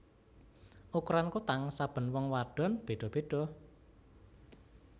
Ukuran kutang saben wong wadon beda beda